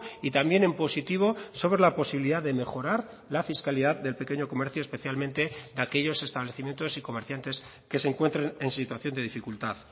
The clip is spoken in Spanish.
y también en positivo sobre la posibilidad de mejorar la fiscalidad del pequeño comercio especialmente de aquellos establecimientos y comerciantes que se encuentren en situación de dificultad